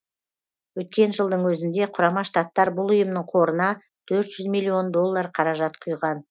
өткен жылдың өзінде құрама штаттар бұл ұйымның қорына төрт жүз миллион доллар қаражат құйған